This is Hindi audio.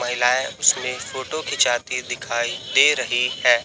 महिलाएं इसमें फोटो खिंचाती दिखाई दे रही हैं।